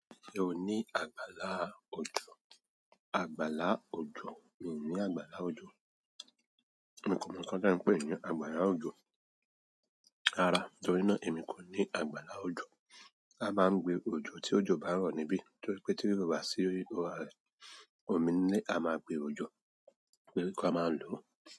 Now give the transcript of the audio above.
Ṣe o ni àgbàlá òjò? Àgbàlá òjò, mi ò ní àgbàlá òjò. Èmi kò mọ ohun tí ẹ ń pè é ní àgbàlá òjò. Rárá, torí náà èmi kò ní àgbàlá òjò. A máa ń gbé òjò tí òjò bá ń rọ̀ níbí torí pé tí o bá sí orí ara ẹni, òmí nilé a máa gbé òjò, pé ka máa lò.